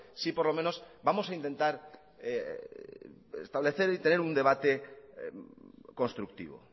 sí por lo menos vamos a intentar establecer y tener un debate constructivo